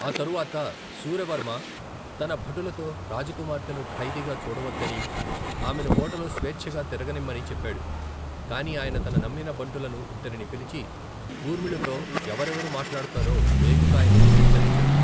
ఆ తరువాత శూరవర్మ తన భటులతో రాజకుమార్తెను ఖైదీగా చూడవద్దనీ, ఆమెను కోటలో స్వేచ్చగా తిరగనిమ్మని చెప్పాడు. కాని ఆయన తన నమ్మిన బంటులను ఇద్దరిని పిలిచి, ఊర్మిళతో ఎవరెవరు మాట్లాడుతారో వేగు కాయమని హెచ్చరించాడు.